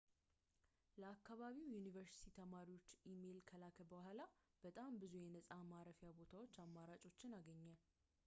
ለአከባቢው ዩኒቨርስቲ ተማሪዎችን ኢሜይል ከላከ በኋላ በጣም ብዙ የነጻ ማረፊያ ቦታ አማራጮችን አገኘ